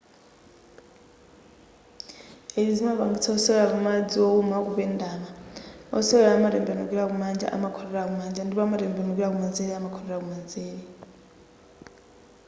izi zimapangitsa wosewera pa madzi wowuma kupendama wosewerayu akatembenukira kumanja amakhotera kumanja ndipo akatembenukira kumanzere amakhotera kumanzere